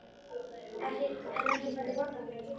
En ekki færðu borgað fyrir að hugsa?